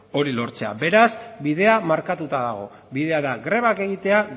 hori lortzea beraz bidea markatuta dago bidea da grebak egitea